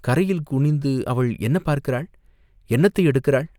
கரையில் குனிந்து அவள் என்ன பார்க்கிறாள், என்னத்தை எடுக்கிறாள்?